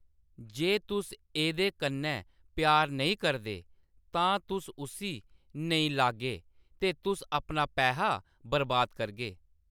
जे तुस एह्‌‌‌दे कन्नै प्यार नेईं करदे, तां तुस उस्सी नेईं लाग्गे ते तुस अपना पैहा बरबाद करगे।